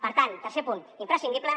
per tant tercer punt imprescindible